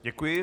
Děkuji.